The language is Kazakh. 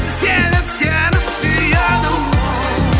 себеп сені сүйеді оу